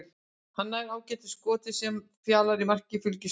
Hann nær ágætu skoti sem Fjalar í marki Fylkis ver.